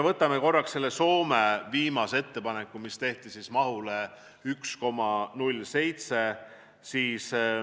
Vaatame korraks Soome viimast ettepanekut, mis oli 1,07.